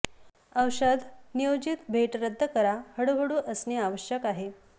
औषध नियोजित भेट रद्द करा हळूहळू असणे आवश्यक आहे